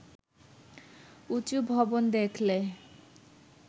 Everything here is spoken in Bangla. উঁচু ভবন দেখলে